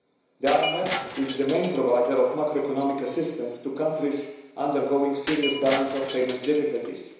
The IMF is the main provider of macroeconomic assistance to countries undergoing serious balance of payments difficulties.